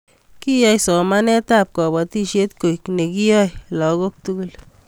Keyai somanetab kobotisiet koek nekiyaei lagok tugul